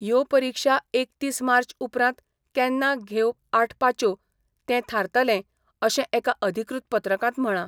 यो परिक्षा एकतीस मार्च उपरांत केन्ना घेव आठ पाच्यो तें थारतलें अशें एका अधिकृत पत्रकांत म्हळां.